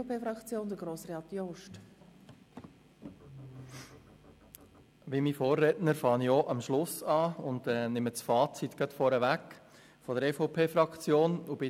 Wie mein Vorredner beginne auch ich am Schluss und nehme das Fazit der EVP-Fraktion vorneweg;